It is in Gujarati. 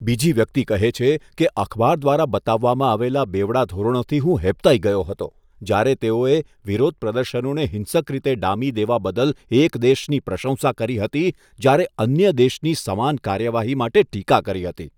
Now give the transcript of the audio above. બીજી વ્યક્તિ કહે છે કે, અખબાર દ્વારા બતાવવામાં આવેલા બેવડા ધોરણોથી હું હેબતાઈ ગયો હતો, જ્યારે તેઓએ વિરોધપ્રદર્શનોને હિંસક રીતે ડામી દેવા બદલ એક દેશની પ્રશંસા કરી હતી જ્યારે અન્ય દેશની સમાન કાર્યવાહી માટે ટીકા કરી હતી